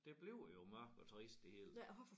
Det bliver jo mørkt og trist det hele